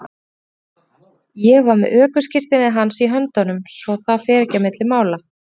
Ég var með ökuskírteinið hans í höndunum svo að það fer ekkert á milli mála.